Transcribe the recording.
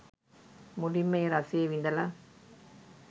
මුලින්ම ඒ රසය විඳල